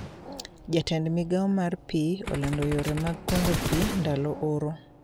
Jatend migao mar pii olando yore mag kungo pii ndalo ooro